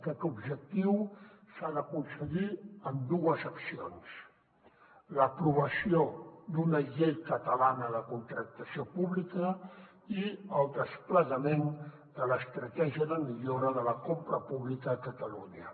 aquest objectiu s’ha d’aconseguir amb dues accions l’aprovació d’una llei catalana de contractació pública i el desplegament de l’estratègia de millora de la compra pública a catalunya